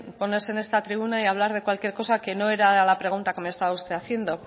ponerse en esta tribuna y hablar de cualquier cosa que no era la pregunta que me estaba usted haciendo